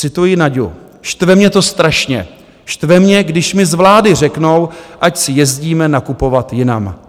Cituji Naďu: Štve mě to strašně, štve mě, když mi z vlády řeknou, ať si jezdíme nakupovat jinam.